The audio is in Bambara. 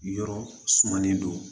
Yɔrɔ sumalen don